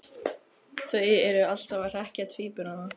Þau eru alltaf að hrekkja tvíburana.